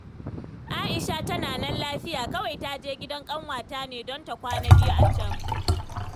Aisha tana nan lafiya. Kawai ta je gidan ƙanwata ne don ta kwana biyu a can